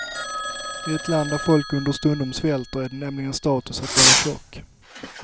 I ett land där folk understundom svälter, är det nämligen status att vara tjock.